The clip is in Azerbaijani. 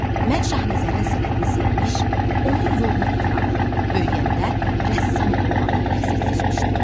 Mən Şahnəzərin sənətini sevmiş, onun yolunu tutmağı, böyüyəndə rəssam olmağı məqsəd seçmişdim.